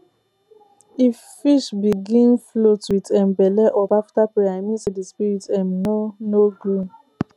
if fish begin float with um belle up after prayer e mean say the spirit um no no gree